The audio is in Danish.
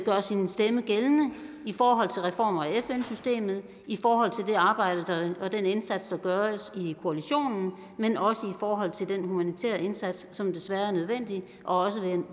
gøre sin stemme gældende i forhold til reformer af fn systemet i forhold til det arbejde og den indsats der gøres i koalitionen men også i forhold til den humanitære indsats som desværre er nødvendig og